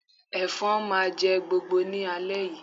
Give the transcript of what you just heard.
Ẹ̀fọn máa jẹ́ gbogbo ní alẹ́ yìí